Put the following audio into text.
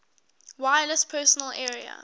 wireless personal area